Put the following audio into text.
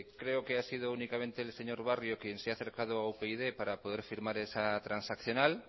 creo que ha sido únicamente el señor barrio quien se ha acercado a upyd para poder firmar esa transaccional